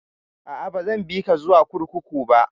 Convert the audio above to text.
A'a, ba zan bi ka zuwa kurkuku ba